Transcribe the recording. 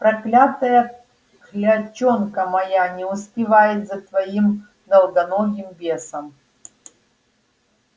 проклятая клячонка моя не успевает за твоим долгоногим бесом